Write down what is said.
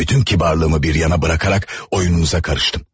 Bütün kibarlığımı bir yana buraxaraq oyununuza qarışdım.